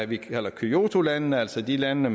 vi kalder kyotolandene altså de lande